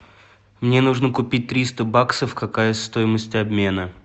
мне нужно купить триста баксов какая стоимость обмена